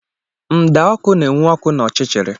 Mda ọkụ na-enwu ọkụ n'ọchịchịrị